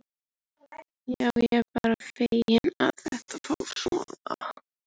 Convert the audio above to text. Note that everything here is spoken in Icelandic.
Já, ég er bara feginn að þetta fór svona.